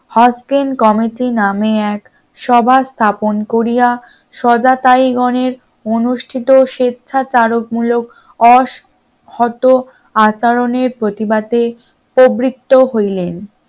hosting committee নামে এক সভা স্থাপন করিয়া সজাতাই গণের অনুষ্ঠিত স্বেচ্ছাচারক মূলক অহত আচরণের প্রতিবাদে প্রবৃত্ত হলেন